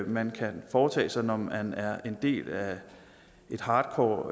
man kan foretage sig når man er en del af et hardcore